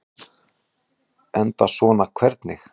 Enda svona hvernig?